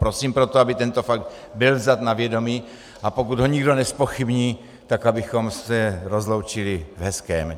Prosím proto, aby tento fakt byl vzat na vědomí, a pokud ho nikdo nezpochybní, tak abychom se rozloučili v hezkém.